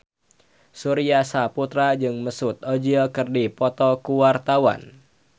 Surya Saputra jeung Mesut Ozil keur dipoto ku wartawan